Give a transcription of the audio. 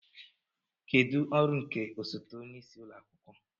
Kedu ọrụ nke osote onye isi ụlọ akwụkwọ